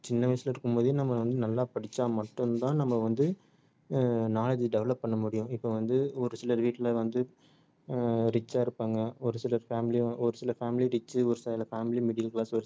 சின்ன வயசுல இருக்கும் போதே நம்ம வந்து நல்லா படிச்சா மட்டும் தான் நம்ம வந்து ஹம் knowledge develop பண்ண முடியும் இப்ப வந்து ஒரு சிலர் வீட்ல வந்து ஆஹ் rich ஆ இருப்பாங்க ஒரு சில family ஆ ஒரு சில family rich சு ஒரு சில family middle class